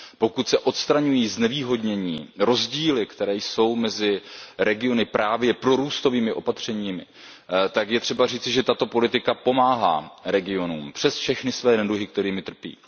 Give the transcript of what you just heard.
Pokud se odstraňují znevýhodnění, rozdíly, které jsou mezi regiony, právě prorůstovými opatřeními, tak je třeba říci, že tato politika pomáhá regionům přes všechny své neduhy, kterými trpí.